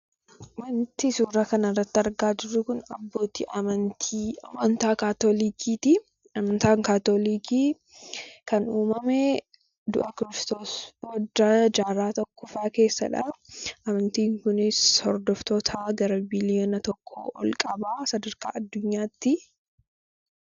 Wanti suuraa kana irratti argaa jirru Kun, abbootii amantii Kaatolikiiti. Amantaan Kaatolikii kan uumame du'a Kiristoos booddee jaarraa tokkoffaa keessadha. Amantiin kunis hordoftoota gara biiliyoona tokko ol qaba sadarkaa addunyaatti.